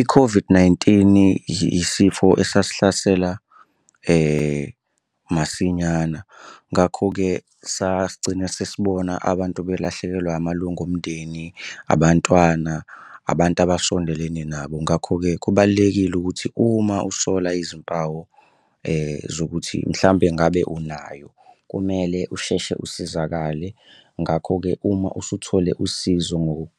I-COVID-19, isifo esasihlasela masinyana, ngakho-ke sasigcina sesibona abantu belahlekelwa amalunga omndeni, abantwana abantu abasondelene nabo. Ngakho-ke kubalulekile ukuthi uma usola izimpawu zokuthi mhlampe ngabe unayo kumele usheshe usizakale. Ngakho-ke uma usuthole usizo